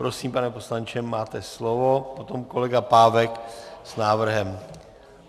Prosím, pane poslanče, máte slovo, potom kolega Pávek s návrhem.